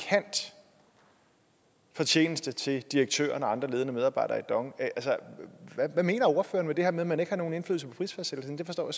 fortjeneste til direktøren og andre ledende medarbejdere i dong altså hvad mener ordføreren med det her med at man ikke har nogen indflydelse på prisfastsættelsen det forstår